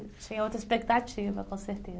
tinha outra expectativa, com certeza.